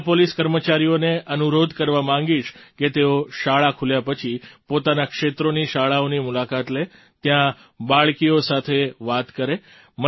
હું મહિલા પોલીસ કર્મચારીઓને અનુરોધ કરવા માગીશ કે તેઓ શાળા ખુલ્યા પછી પોતાનાં ક્ષેત્રોની શાળાઓની મુલાકાત લે ત્યાં બાળકીઓ સાથે વાત કરે